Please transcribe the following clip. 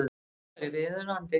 Það væri viðunandi